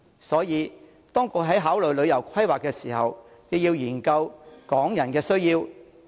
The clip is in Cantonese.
所以，當局在考慮旅遊規劃時，亦應研究港人的需要。